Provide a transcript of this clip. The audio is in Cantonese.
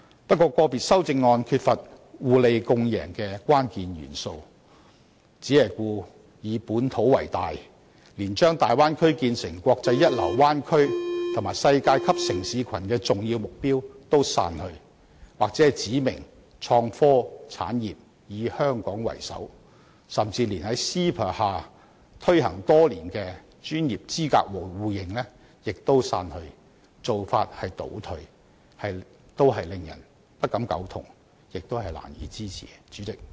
不過，個別修正案缺乏互利共贏的關鍵元素，只以本土為大，連將大灣區建構成"國際一流灣區和世界級城市群"的重要目標也刪去，又或指明創科產業須"以香港為首"，甚至連 CEPA 下推行多年的專業資格互認亦刪去，做法倒退，令人不敢苟同，亦難以支持。